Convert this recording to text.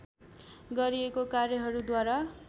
गरिएको कार्यहरूद्वारा